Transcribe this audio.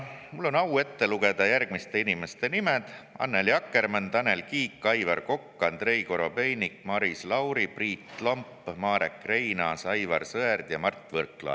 Mul on au ette lugeda järgmiste inimeste nimed: Annely Akkermann, Tanel Kiik, Aivar Kokk, Andrei Korobeinik, Maris Lauri, Priit Lomp, Marek Reinaas, Aivar Sõerd ja Mart Võrklaev.